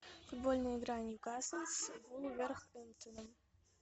футбольная игра ньюкасл с вулверхэмптоном